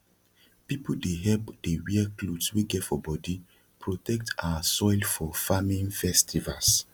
people dey hep dey wear cloths wey get for bodi protect our soil for farming festivals